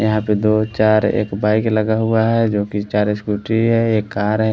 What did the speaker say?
यहाँ पे दो चार एक बाइक लगा हुआ है जोकि चार स्कूटी है एक कार है।